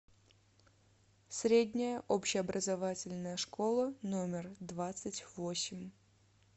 средняя общеобразовательная школа номер двадцать восемь